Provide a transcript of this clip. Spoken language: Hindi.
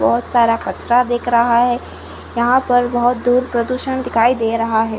बहुत सारा कचरा दिख रहा है यहाँ पर बहुत दूर प्रदुषण दिखाई दे रहा है।